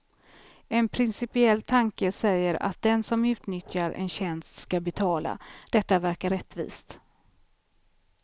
En principiell tanke säger att den som utnyttjar en tjänst ska betala; detta verkar rättvist.